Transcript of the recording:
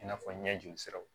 I n'a fɔ ɲɛ joli siraw